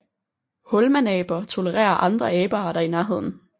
Hulmanaber tolererer andre abearter i nærheden